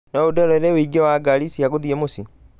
No ũndorere ũingĩ wa ngari cia gũthiĩ mũciĩ